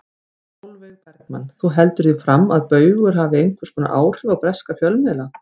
Sólveig Bergmann: Þú heldur því fram að Baugur hafi einhvers konar áhrif á breska fjölmiðla?